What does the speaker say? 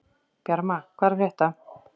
Bjarma, hvað er að frétta?